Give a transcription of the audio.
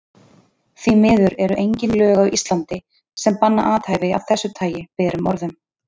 Því miður eru engin lög á Íslandi, sem banna athæfi af þessu tagi berum orðum.